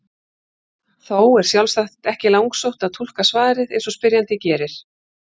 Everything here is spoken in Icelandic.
Þó er sjálfsagt ekki langsótt að túlka svarið eins og spyrjandi gerir.